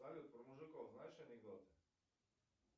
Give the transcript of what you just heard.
салют про мужиков знаешь анекдоты